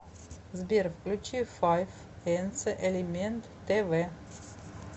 сбер включи файф энцэ элемент тэ вэ